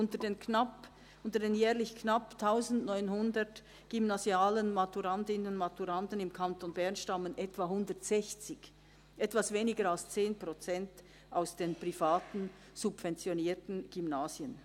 Von den jährlich knapp 1900 gymnasialen Maturandinnen und Maturanden im Kanton Bern stammen etwa 160 – also etwas weniger als 10 Prozent – aus den privaten, subventionierten Gymnasien.